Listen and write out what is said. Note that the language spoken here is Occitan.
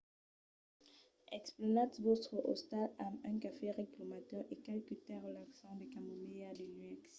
emplenatz vòstre ostal amb un cafè ric lo matin e qualque tè relaxant de camomilha de nuèch